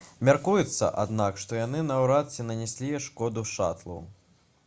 мяркуецца аднак што яны наўрад ці нанеслі шкоду шатлу